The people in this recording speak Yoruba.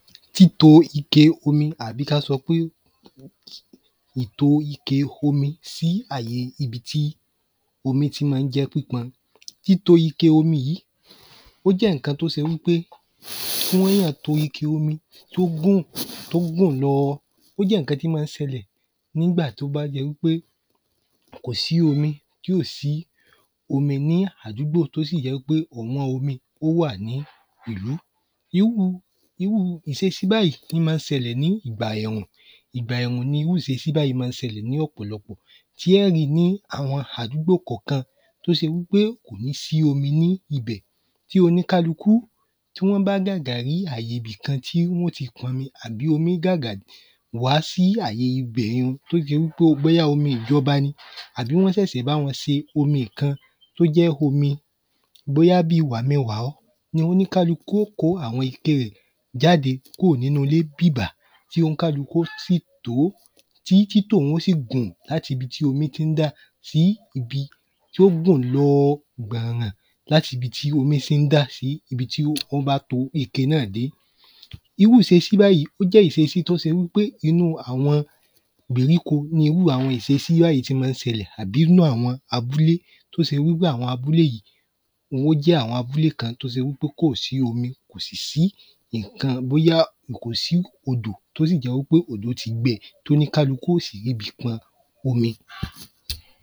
Títo ike omi àbí k’a sọ pé èto ike omi sí àye ibi tí omi tí má ń jẹ́ pípọn. Títo ike omi yìí ó jẹ́ ǹkan t’ó se wí pé tí wọ́ yàn tó ike omi t’ó gùn t’ó gùn lọ Ó jẹ́ ǹkan tí má ń sẹlẹ̀ n’ígbà t’ó bá jẹ wí pé kò sí omi. Tí ò sí omi ní àdúgbò t’ó sì jẹ́ wí pé ọ̀wọ́n omi ó wà ní ìlú Irúu ìsesí báyí má ń sẹlẹ̀ ní ìgbà ẹ̀rùn. Ìgbà ẹ̀rùn ní irú ìsesí báyí má ń sẹlẹ̀ ní ọ̀pọ̀lọpọ̀. Tí ọ́ ri ní àwọn àdúgbò kọ̀kan t’ó se wí pé kò ní sí omi ní ibẹ̀ Tí oníkálukú tí wọ́n bá gàgà rí àye ‘bì kan tí wọ́n ó ti p’ọmi àbí omi gàgà wá sí ibẹ̀ un ni t’ó jẹ́ wí pé bóyá omi ìjọba ni àbí wọ́n ṣèṣè báwọn ṣe omi kan t’ó jẹ́ omi bóyá bíi wàmi-n-wà-ọ́ ni oníkálukú ó kó àwọn ike rẹ̀ jáde kúrò nínú ilé bìbà Tí oníkálukú ó sì tòó. Tí títò ún ó sì gùn l’áti ibi tí omi tí ń dà sí ibi tí ó gùn lọ gbọ̀nràn l’át’ibi tí omi tí ń dà sí ibi tí okun bá to ike náà sí Irú ìsesí báyí ó jẹ́ ìsesí t’ó sé wí pé inú àwọn ìgbèríko ní irú àwọn ìsesí báyí ti má ń sẹlẹ̀ àbí ínú àwọn abúlé t’ó sé wí pé àbí ínú àwọn abúlé wón ó jẹ́ àwọn abúlé kan t’ó sé wí pé kò sí omi kò sì si ìnkan bóyá kò sí odò t’ó sì jẹ́ wí pé òdo ti gbẹ t’ó ní kálukú ó sì r’íbi pọn omi